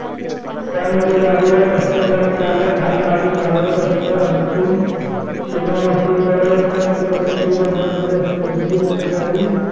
त्यामध्ये गाडीवर बसलेला चालक हा गाडी चालवत असतो अंतिम सीमारेषेजवळ पंचकमिटी बनवलेली असते जी बैलगाडी